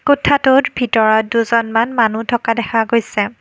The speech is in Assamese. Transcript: কোঠাটোত ভিতৰত দুজনমান মানুহ থকা দেখা গৈছে।